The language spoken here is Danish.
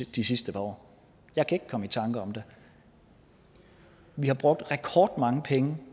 de sidste par år jeg kan ikke komme i tanker om det vi har brugt rekordmange penge